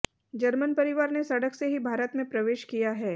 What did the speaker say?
German परिवार ने सड़क से ही भारत में प्रवेश किया है